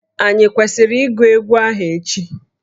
Ànyị kwesịrị ịgụ egwu ahụ echi?